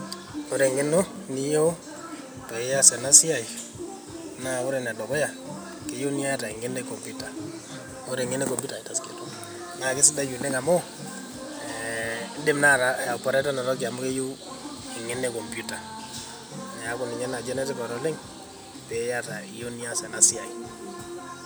Ore eng'eno niyieu, paias enasiai, na ore enedukuya, keyieu niata eng'eno e computer [cs. Ore eng'eno e computer ,na kesidai oleng amu, eh idim naa aiporeta enatoki amu keyieu eng'eno e Computer. Neeku ninye naji enetipat oleng',piata iyieu nias enasiai.